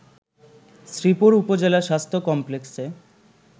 শ্রীপুর উপজেলা স্বাস্থ্য কমপ্লেক্সে